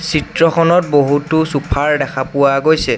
চিত্ৰখনত বহুতো চোফাৰ দেখা পোৱা গৈছে।